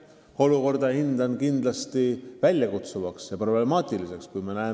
Ma pean seda olukorda kindlasti problemaatiliseks ja väljakutseid esitavaks.